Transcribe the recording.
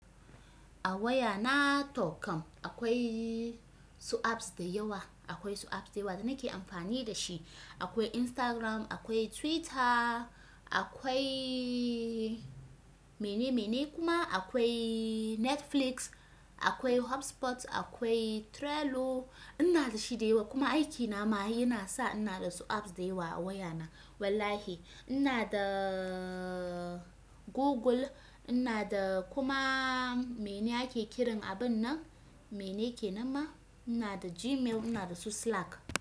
A waya na to kam akwai su apps da yawa, akwai su apps da yawa da nake amfani da shi. Akwai Instagram, akwai Twitter, akwai mene mene kuma akwai Netflix, akwai HubSpot, akwai Trello. Ina da shi da yawa kuma aikina ma yana sa ina da su apps da yawa a wayana. Wallahi ina da Google, ina da kuma mene ake kiran abun nan? Mene kenan ma? Ina da Gmail, ina da su Slack.